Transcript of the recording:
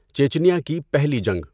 چیچینیا کی پہلی جنگ۔